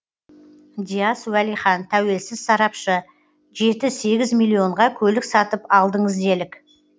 дияс уәлихан тәуелсіз сарапшы жеті сегіз миллионға көлік сатып алдыңыз делік